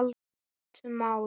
Gott mál.